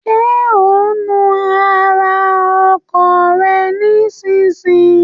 Ṣé ò ń nu ara ọkọ̀ rẹ nísinsìnyí?